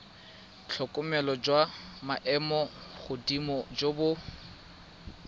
tlhokomelo jwa maemogodimo jo bo